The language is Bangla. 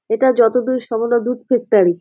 এইটা যত দূর সম্ভব দুধ ফ্যাক্টরি ।